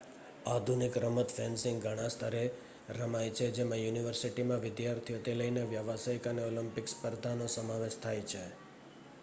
આધુનિક રમત ફેન્સિંગ ઘણાં સ્તરે રમાય છે જેમાં યુનિવર્સિટીમાં વિદ્યાર્થીઓથી લઈને વ્યાવસાયિક અને ઑલિમ્પિક સ્પર્ધાનો સમાવેશ થાય છે